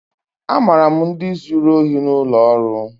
Amara m ndi zuru ohi n'ụlọ ọrụ.